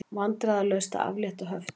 Vandræðalaust að aflétta höftum